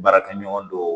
Baarakɛɲɔgɔn dɔw